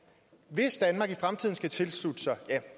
hvis danmark i fremtiden skal tilslutte sig